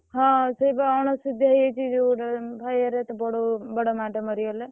ହଁ ସେଇ ବା ଅଣସୁଧିଆ ହେଇ ଯାଇଛି ଯୋଉ ଭାଇ ବଡବୋଉ ବଡମାଟେ ମରିଗଲେ।